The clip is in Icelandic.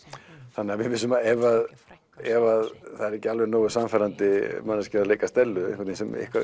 þannig að við vissum að ef ef það er ekki alveg nógu sannfærandi manneskja að leika Stellu sem